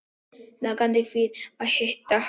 Nagandi kvíði að hitta hana.